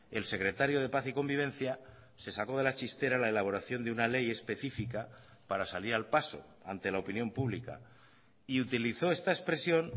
el secretario de paz y convivencia se sacó de la chistera la elaboración de una ley específica para salir al paso ante la opinión pública y utilizó esta expresión